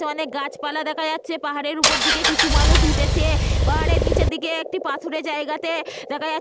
অনেক গাছপালা দেখা যাচ্ছে। পাহাড়ের উপর দিকে কিছু মানুষ উঠেছে। পাহাড়ের নিচের দিকে একটি পাথুরে জায়গাতে দেখা যাচ্ছে --